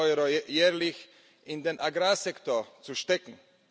Euro jährlich in den Agrarsektor zu stecken.